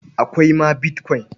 Akwai ma bitkwain.